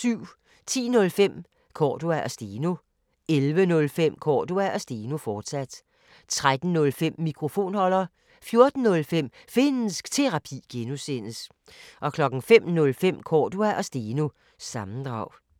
10:05: Cordua & Steno 11:05: Cordua & Steno, fortsat 13:05: Mikrofonholder 14:05: Finnsk Terapi (G) 05:05: Cordua & Steno – sammendrag